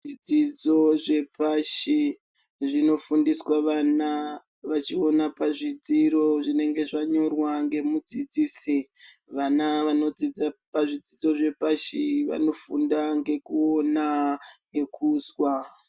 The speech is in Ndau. Zvidzidzo zvepashi zvinofundiswa vana vachiona pazvidziro zvinenge zvanyorwa nemudzidzisi. Vana vanofunda pazvidzidzo zvepashi vanofunda ngekuona nekuzwa.